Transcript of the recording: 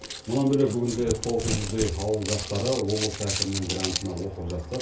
мұнан бөлек бүгінде тоғыз жүздей ауыл жастары облыс әкімінің грантына оқып жатса